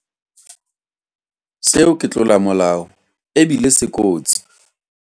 Seo ke tlolomolao e bile se kotsi.